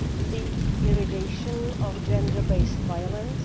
the eradication of gender based violence